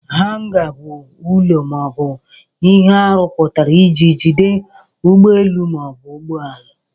Hanga bụ ụlọ ma ọ bụ ihe arụpụtara iji jide ụgbọelu ma ọ bụ ụgbọelu.